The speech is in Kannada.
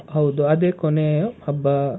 ಹೌದು. ಅದೇ ಕೊನೆಯ ಹಬ್ಬಾ.